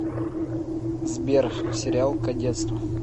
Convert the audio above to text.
сбер сериал кадетство